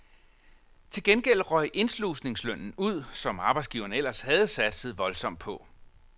Til gengæld røg indslusningslønnen ud, som arbejdsgiverne ellers havde satset voldsomt på.